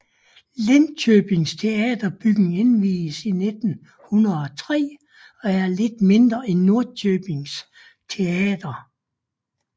Linköpings teaterbygning indviedes i 1903 og er lidt mindre end Norrköpings teater